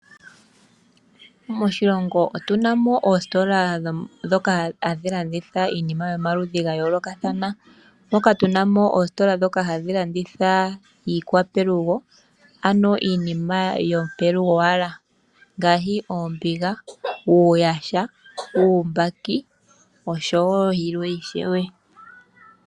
Moshilongo otu na mo oositola ndhoka hadhi landitha iinima yomaludhi ga yoolokathana, moka tu na mo oositola ndhoka hadhi landitha iinima yopelugo owala, ngaashi oombiga, uuyaha, uumbaki nayilwe.